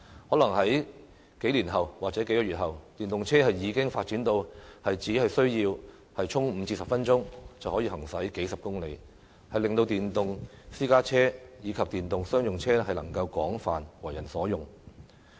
可能在數年或數月後，電動車已經發展到只需要充電5至10分鐘就可以行駛數十公里，令到電動私家車及商用車能夠廣泛為人所用。